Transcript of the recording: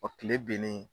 kile binnen